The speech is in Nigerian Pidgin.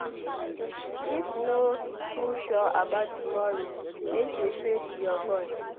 If no too sure about tomorrow make you pray to your God.